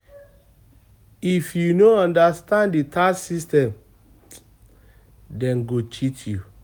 If you no understand the tax system, dem go cheat you